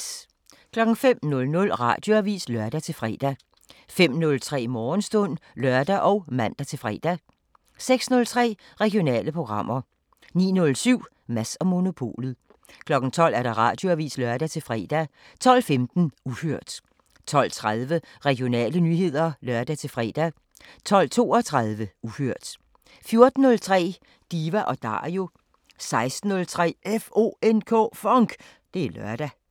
05:00: Radioavisen (lør-fre) 05:03: Morgenstund (lør og man-fre) 06:03: Regionale programmer 09:07: Mads & Monopolet 12:00: Radioavisen (lør-fre) 12:15: Uhørt 12:30: Regionale nyheder (lør-fre) 12:32: Uhørt 14:03: Diva & Dario 16:03: FONK! Det er lørdag